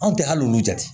Anw tɛ hali olu jate